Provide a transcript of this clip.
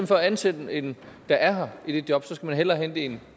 for at ansætte en der er her i det job skal man hellere hente en